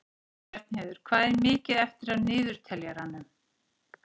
Bjarnheiður, hvað er mikið eftir af niðurteljaranum?